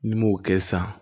N'i m'o kɛ sisan